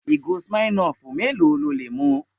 Ìgò Smirnoff mélòó lo lè mu?